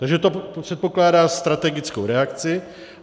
Takže to předpokládá strategickou reakci.